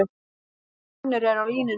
Finnur er á línunni.